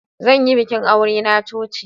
Zan yi bikin aure na coci.